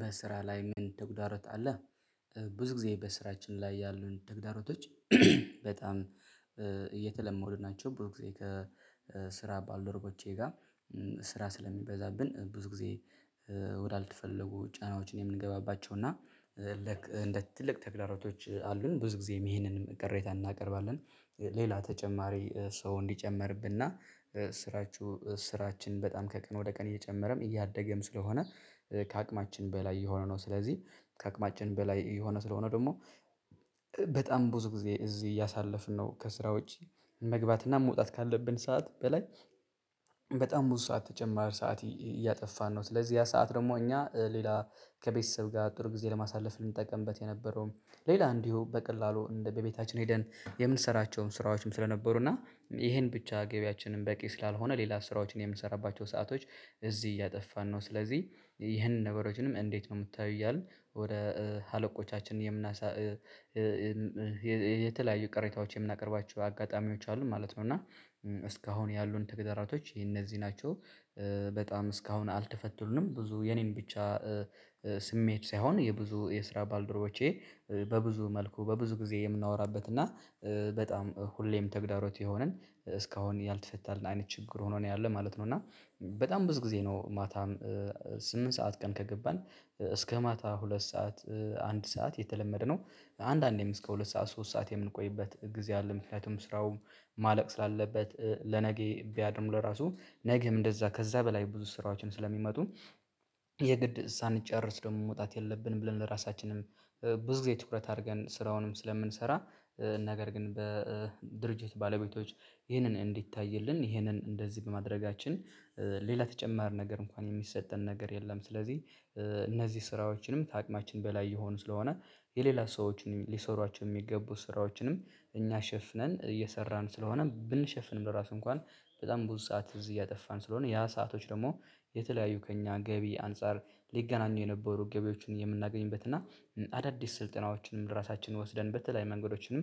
በስራ ላይ ምን ተጉዳሮት አለ? ብዙ ጊዜ በስራችን ላይ ያሉን ተግዳሮቶች። በጣም እየተለመዱ ናቸው። ብዙ ጊዜ ከስራ ባልደረቦቼ ጋር ስራ ስለሚበዛብን ብዙ ጊዜ። ወዳልተፈለጉ ጫናዎችን የምንገባባቸው እና እንደ ትልቅ ተግላሮቶች አሉን ብዙ ጊዜም ይሄንን ቅሬታ እናቀርባለን፤ ሌላ ተጨማሪ ሰው እንዲጨመርብን እና ስራችሁ ስራችን በጣም ከቀን ወደ ቀን እየጨመረም እያደገም ስለሆነ። ከአቅማችን በላይ እየሆነ ነው። ስለዚህ ከአቅማችን በላይ እየሆነ ስለሆነ ደግሞ በጣም ብዙ ጊዜ እዚህ እያሳለፍን ነው። ከስራ ውጭ መግባትና መውጣት ካለብን ሰዓት በላይ። በጣም ብዙ ሰዓት ተጨማሪ ሰዓት እያጠፋን ነው። ስለዚህ ያ ሰዓት ደግሞ እኛ ሌላ ከቤተሰብ ጋር ጥሩ ጊዜ ለማሳለፍ ልንጠቀምበት የነበረውም ሌላ እንዲሁ በቀላሉ እንደ በቤታችን ሄደን የምንሰራቸውን ስራዎችም ስለነበሩ እና ይሄን ብቻ ገቢያችንን በቂ ስላልሆነ ሌላ ስራዎችን የምንሰራባቸው ሰአቶች እዚህ እያጠፋን ነው። ስለዚህ ይህንን ነገሮችንም እንዴት ነው የምታዩ? እያልን ወደ አለቆቻችን የምናሳ የተለያዩ ቅሬታዎች የምናቀርባቸው አጋጣሚዎች አሉ ማለት ነው። እና እስካሁን ያሉን ተግዳራቶች የነዚህ ናቸው፤ በጣም እስካሁን አልተፈቱልንም ብዙ የኔን ብቻ ስሜት ሳይሆን የብዙ የስራ ባልደረቦቼ በብዙ መልኩ በብዙ ጊዜ የምናወራበት እና በጣም ሁሌም ተግዳሮት የሆነን እስካሁን ያልተፈታልን አይነት ችግር ሆኖ ነው ያለው ማለት ነው። እና በጣም ብዙ ጊዜ ነው ማታም ስምንት ሰዓት ቀን ከገባን እስከ ማታ ሁለት ሰዓት አንድ ሰዓት የተለመደ ነው፤ አንዳንዴም እስከ ሁለት ሰዓት ሶስት ሰዓት የምንቆይበት ጊዜ አለ። ምክንያቱም ስራው ማለቅ ስላለበት ለነገ ቢያድርም ለራሱ ነገም እንደዛ ከዛ በላይ ብዙ ስራዎችን ስለሚመጡ የግድ ሳንጨርስ ደግሞ መውጣት የለብንም። ብለን ለራሳችንም ብዙ ጊዜ ትኩረት አድርገን ስራውንም ስለምንሰራ ነገር ግን በድርጅት ባለቤቶች ይህንን እንዲታይልን ይህንን እንደዚህ በማድረጋችን ሌላ ተጨማሪ ነገር እንኳን የሚሰጠን ነገር የለም። ስለዚህ እነዚህ ስራዎችንም ታቅማችን በላይ የሆኑ ስለሆነ የሌላ ሰዎችን ሊሰሯቸው የሚገቡ ስራዎችንም እኛ ሸፍነን እየሰራን ስለሆነ ብንሸፍንም ለራሱ እንኳን በጣም ብዙ ሰዓት እዚህ እያጠፋን ስለሆነ ያ ሰአቶች ደግሞ የተለያዩ ከእኛ ገቢ አንፃር ሊገናኙ የነበሩ ገቢዎችን የምናገኝበት እና አዳዲስ ስልጠናዎችንም ራሳችን ወስደን በተለይ መንገዶችንም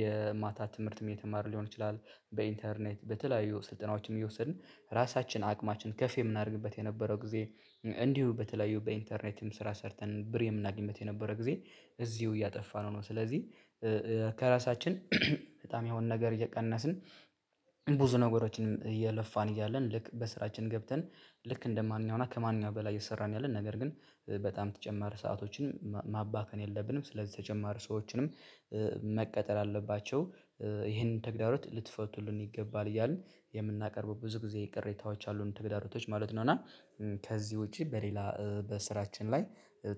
የማታ ትምህርትም እየተማርን ሊሆን ይችላል በኢንተርኔት በተለያዩ ስልጠናዎችም እየወሰድን ራሳችን አቅማችን ከፍ የምናደርግበት የነበረው ጊዜ እንዲሁ በተለያዩ በኢንተርኔትም ስራ ሰርተን ብር የምናገኝበት የነበረ ጊዜ እዚሁ እያጠፋነው ነው። ስለዚህ ከራሳችን በጣም ያሁን ነገር እየቀነስን ብዙ ነገሮችን እየለፋን እያለን ልክ በስራችን ገብተን ልክ እንደማንኛውም እና ከማንኛውም በላይ እየሰራን ያለን ነገር ግን በጣም ተጨማሪ ሰአቶችን ማባከን የለብንም። ስለዚህ ተጨማሪ ሰዎችንም መቅጠር አለባቸው ይሄንን ተግዳሮት ልትፈቱልን ይገባል። እያልን የምናቀርበው ብዙ ጊዜ ቅሬታዎች አሉን ተግዳሮቶች ማለት ነው። እና ከዚህ ውጪ በሌላ በስራችን ላይ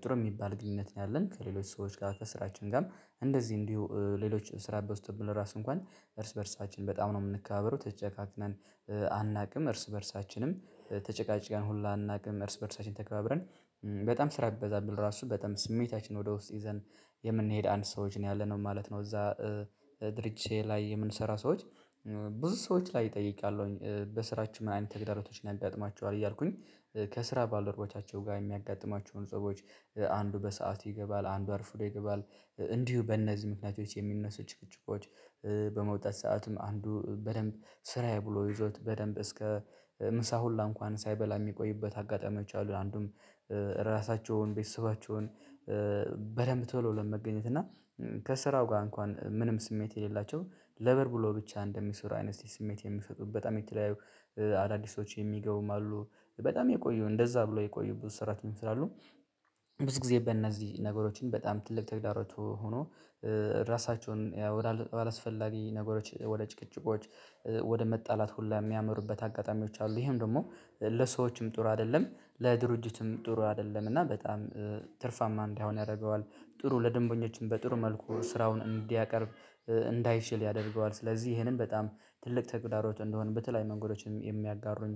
ጥሩ የሚባል ግንኙነት ነው ያለን፤ ከሌሎች ሰዎች ጋር ከስራችን ጋርም እንደዚህ እንዲሁ ሌሎች ስራ በዝቶብን ለራሱ እንኳን እርስ በእርሳችን በጣም ነው የምንከባበረው ተጨካክነን አናውቅም እርስ በእርሳችንም ተጨቃጭቀን ሁላ አናውቅም እርስ በእርሳችን ተከባብረን በጣም ስራ ቢበዛብን ራሱ በጣም ስሜታችንን ወደ ውስጥ ይዘን የምንሄድ አንድ ሰዎች ነው ያለነው ማለት ነው። እዛ ድርጅት ላይ የምንሰራ ሰዎች። ብዙ ሰዎች ላይ ጠይቄአለሁኝ በስራችን ምን አይነት ተግዳሮቶች ያጋጥማችኋል እያልኩኝ? ከስራ ባልደረቦቻቸው ጋር የሚያጋጥማቸውን ጸቦች አንዱ በሰአት ይገባል አንዱ አርፉዶ ይገባል እንዲሁ በእነዚህ ምክንያቶች የሚነሱ ጭቅጭቆች። በመውጣት ሰአቱም አንዱ በደንብ ስራዬ ብሎ ይዞት በደንብ እስከ ምሳ ሁላ እንኳን ሳይበላ የሚቆይበት አጋጣሚዎች አሉ። አንዱም ራሳቸውን ቤተሰባቸውን በደንብ ቶሎ ለመገኘት እና ከስራው ጋር እንኳን ምንም ስሜት የሌላቸው ለብር ብሎ ብቻ እንደሚሰሩ አይነት ስሜት የሚሰጡ በጣም የተለያዩ አዳዲስ ሰዎች የሚገቡም አሉ፤ በጣም የቆዩ እንደዛ ብሎ የቆዩ ብዙ ሰራተኞች ስላሉ። ብዙ ጊዜ በእነዚህ ነገሮችን በጣም ትልቅ ተግዳሮቶች ሆኖ ራሳቸውን ወደ አላስፈላጊ ነገሮች ወደ ጭቅጭቆች ወደ መጣላት ሁሉ የሚያመሩበት አጋጣሚዎች አሉ። ይሄም ደግሞ ለሰዎችም ጥሩ አይደለም ለድርጅቱም ጥሩ አይደለም። እና በጣም ትርፋማ እንዳይሆን ያደርገዋል፤ ጥሩ ለደንበኞችም በጥሩ መልኩ ስራውን እንዲያቀርብ እንዳይችል ያደርገዋል። ስለዚህ ይሄንን በጣም ትልቅ ተግዳሮት እንደሆነ በተለያየ መንገዶችን የሚያጋሩኝ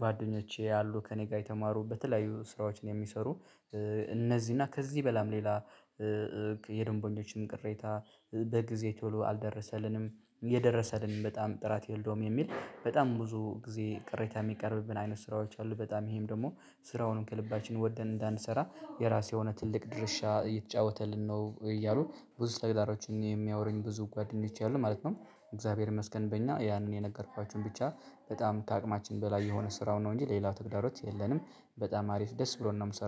ጓደኞቼ አሉ። ከእኔ ጋር የተማሩ በተለያዩ ስራዎችን የሚሰሩ እነዚህ እና ከዚህ በላም ሌላ የደንበኞችን ቅሬታ በጊዜ ቶሎ አልደረሰልንም የደረሰልንም በጣም ጥራት የለውም የሚል በጣም ብዙ ጊዜ ቅሬታ የሚቀርብብን አይነት ስራዎች አሉ። በጣም ይሄም ደግሞ ስራውንም ከልባችን ወደን እንዳንሰራ የራሱ የሆነ ትልቅ ድርሻ እየተጫወተልን ነው። እያሉ ብዙ ተግዳሮቶች የሚያወሩኝ ብዙ ጓደኞቼ አሉ ማለት ነው። እግዚአብሔር ይመስገን በእኛ ያንን የነገርኳችሁን ብቻ በጣም ከአቅማችን በላይ የሆነ ስራው ነው እንጂ ሌላው ተግዳሮት የለንም። በጣም አሪፍ ደስ ብሎን ነው የምንሰራው።